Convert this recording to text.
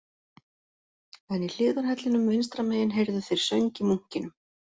En í hliðarhellinum vinstra megin heyrðu þeir söng í munkinum